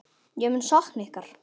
Ég mun sakna ykkar.